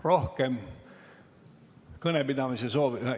Rohkem kõnepidamise soovi ...